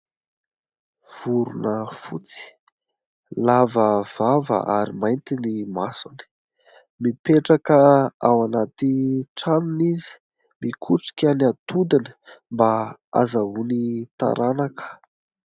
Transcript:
Vorona fotsy lava vava ary mainty ny masony. Mipetraka ao anaty tranony izy, mikotrika ny atodiny mba azahoany taranaka.